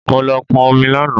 Mo lọ pọn omi lánàá